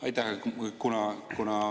Aitäh!